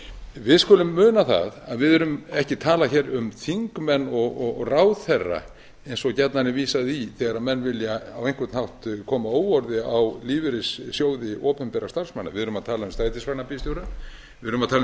við skulum muna það að við erum ekki að tala um þingmenn og ráðherra eins og gjarnan er vísað í þegar menn vilja á einhvern hátt koma óorði á lífeyrissjóði opinberra starfsmanna við erum að tala um strætisvagnabílstjóra við erum að tala um